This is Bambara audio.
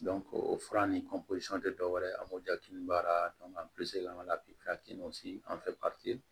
o fura ni tɛ dɔwɛrɛ ye an b'o ja kelen baara an fɛ